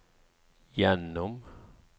gjennom